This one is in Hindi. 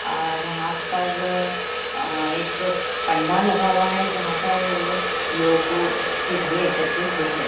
अ यहाँ पर एक पंडाल लगा हुआ है जहाँ पर लोगो की भीड़ एकत्रित हुई है।